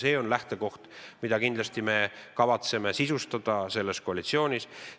See on lähtekoht, mida me kindlasti kavatseme selles koalitsioonis sisustada.